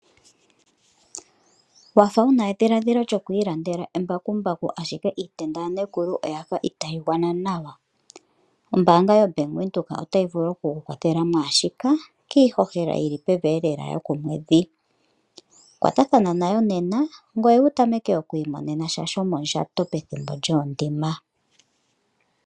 Wafa wuna edhiladhilo lyo ku ilandela embakumbaku ashike iitenda yaNekulu oyafa itaa yi gwana nawa. Ombaanga yo Bank Windhoek ota yi vulu oku ku kwathela mwaashika, kiihohela yili pevi lela yokomwedhi. Kwatathana nayo nena ngoye wu tameke oku imonena sha shomondjato pethimbo lyoondima.